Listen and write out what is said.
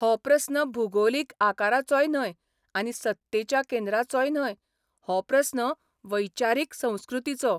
हो प्रस्न भुगोलीक आकाराचोय न्हय आनी सत्तेच्या केंद्रांचोय न्हय, हो प्रस्न वैचारीक संस्कृतीचो.